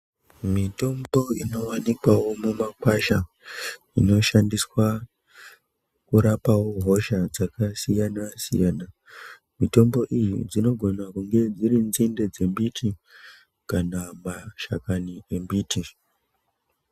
Mitombo inowanikwawo mumakwasha inoshandiswa kurapawo hosha dzakasiyanasiyana mitombo iyi dzinogona kunge dziri nzinde dzembiti kana kuti mashizha embiti.